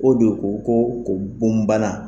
O de ko ko ko bon bana.